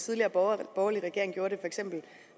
tidligere borgerlige regering gjorde det for eksempel